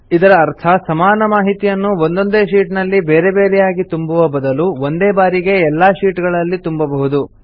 ಇದರ ಅರ್ಥ ಸಮಾನ ಮಾಹಿತಿಯನ್ನು ಒಂದೊಂದೇ ಶೀಟ್ ನಲ್ಲಿ ಬೇರೆ ಬೇರೆಯಾಗಿ ತುಂಬುವ ಬದಲು ಒಂದೇ ಬಾರಿಗೆ ಎಲ್ಲಾ ಶೀಟ್ ಗಳಲ್ಲಿ ತುಂಬಬಹುದು